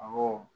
Awɔ